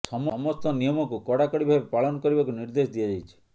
ସମସ୍ତ ନିୟମକୁ କଡାକଡା ଭାବେ ପାଳନ କରିବାକୁ ନିର୍ଦ୍ଦେଶ ଦିଆଯାଇଛି